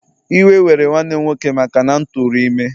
Iwe were nwanne m nwoke maka na m tụrụ ime